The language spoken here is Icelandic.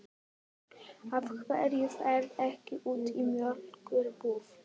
Af hverju ferðu ekki út í mjólkur- búð?